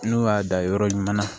N'o y'a dan yɔrɔ ɲuman na